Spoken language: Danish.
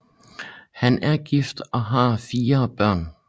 Han er gift og har fire børn